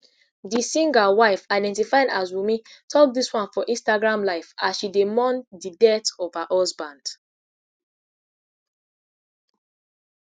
di singer wife identified as wunmi tok dis one for instagram live as she dey mourn di death of her husband